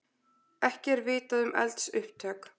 Ekki er vitað um eldsupptök